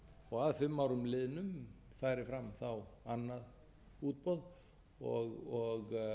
og að fimm árum liðnum færi fram annað útboð og